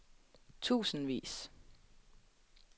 tusindvis